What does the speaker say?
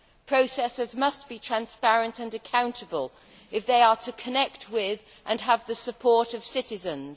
Processes must be transparent and accountable if they are to connect with, and have the support of, citizens.